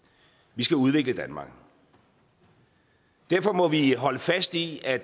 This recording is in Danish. vi skal udvikle danmark derfor må vi holde fast i at